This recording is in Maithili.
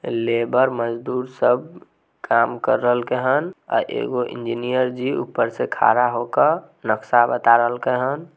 लेबर मजदूर सब काम कर रहलके हैन अ एगो इंजिनियर जी ऊपर से खड़ा होकर नक्शा बता रहलके हैन।